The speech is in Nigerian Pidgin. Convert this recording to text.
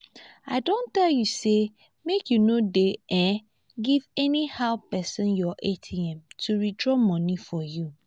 i don tell you say make you no dey um give anyhow person your atm to withdraw money for you